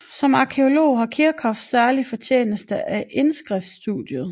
Som arkæolog har Kirchhoff særlig fortjeneste af indskriftsstudiet